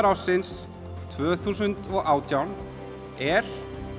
ársins tvö þúsund og átján er